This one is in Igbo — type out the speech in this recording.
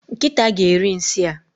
Nkịta ga eri nsị a